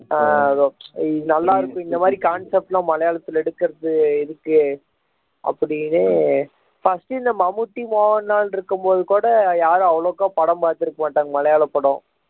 ஆஹ் அதுவும் நல்லா இருக்கும் இந்த மாதிரி concept எல்லாம் மலையாளத்தில் எடுக்கிறது இதுக்கு அப்படின்னு first இந்த மம்முட்டி மோகன்லால் இருக்கும்போது கூட யாரும் அவ்வளவா படம் பார்த்து இருக்க மாட்டாங்க மலையாள படம்